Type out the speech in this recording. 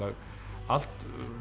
allt